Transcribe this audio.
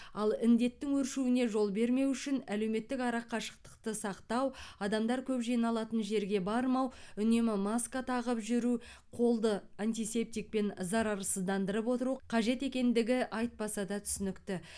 ал індеттің өршуіне жол бермеу үшін әлеуметтік арақашықтықты сақтау адамдар көп жиналатын жерге бармау үнемі маска тағып жүру қолды антисептикпен зарарсыздандырып отыру қажет екендігі айтпаса да түсінікті